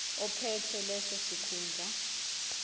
ophethe leso sikhundla